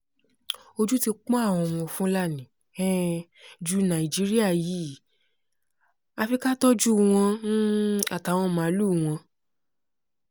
ojú ti pọ́n àwọn fúlàní um jù ni nàìjíríà yìí àfi ká tọ́jú wọn um àtàwọn màálùú wọn